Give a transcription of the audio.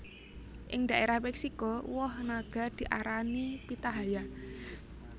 Ing dhaérah Méksiko woh naga diarani Pitahaya